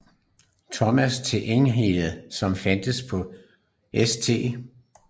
Thomas til Enigheden som fandtes på St